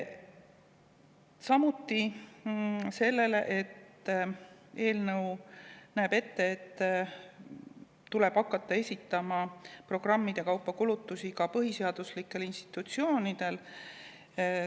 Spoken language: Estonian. Samuti näeb eelnõu ette, et kulutusi programmide kaupa tuleb hakata esitama ka põhiseaduslikel institutsioonidel.